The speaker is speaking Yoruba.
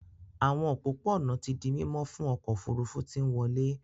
Àwọn òpópó-ònà tí dì mimo fún ọkọ òfurufú tí nwọle.